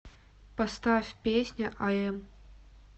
поставь песня ай эм